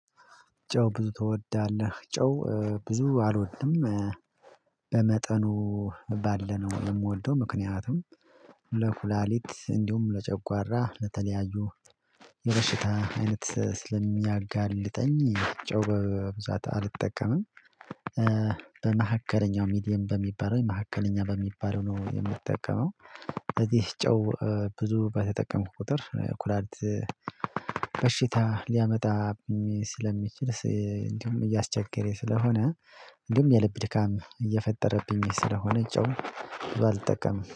ጨው ብዙ ትወዳለህ? ጨው ብዙ አልወድም በመጠኑ ባለነው የምወልደው ምክንያቱም ለኩላሊት እንዲሁም ለጨጓራ ለተለያዩ የበሽታ አይነት ስለሚያጋልጠኝ ጨው በብዛት አልጠቀምም በመሃከለኛው ሚዲየም በሚባለው መሀከለኛ በሚባለው ነው የምጠቀመው በዚህ ጨው ብዙ በተጠቀምኩ ቁጥር ኩላሊት በሽታ ሊያመጣብኝ ስለሚችል እንዲሁም እያስቸገረኝ ስለሆነ እንዲሁም የልብ ድካም እየፈጠረብኝ ስለሆነ ጨው ብዙ አልጠቀምም